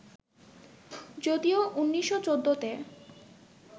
যদিও ১৯১৪ তে